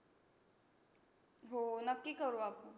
हो, नक्की करू आपण.